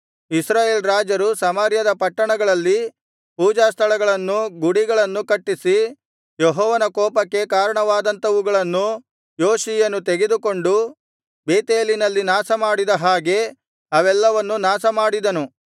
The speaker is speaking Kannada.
ಇಸ್ರಾಯೇಲ್ ರಾಜರು ಸಮಾರ್ಯದ ಪಟ್ಟಣಗಳಲ್ಲಿ ಪೂಜಾಸ್ಥಳಗಳನ್ನು ಗುಡಿಗಳನ್ನು ಕಟ್ಟಿಸಿ ಯೆಹೋವನ ಕೋಪಕ್ಕೆ ಕಾರಣವಾದಂಥವುಗಳನ್ನು ಯೋಷೀಯನು ತೆಗೆದುಕೊಂಡು ಬೇತೇಲಿನಲ್ಲಿ ನಾಶಮಾಡಿದ ಹಾಗೆ ಅವೆಲ್ಲವನ್ನು ನಾಶಮಾಡಿದನು